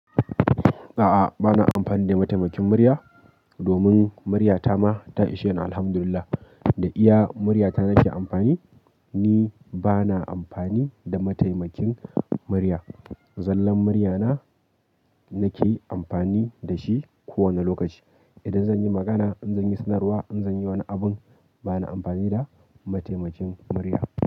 A'a, ba na amfani da mataimakin murya domin muryata ma ta ishe ni Alhamdulillah. Da iya muryata na ke amfani, ni ba na amfani da mataimakin murya. Zallan murya na, nake amfani da shi kowane lokaci. Idan zan yi magana, in zan yi sanarwa, in zan yi wani abin, ba na amfani da mataimakin murya.